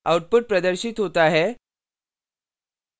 output प्रदर्शित होता है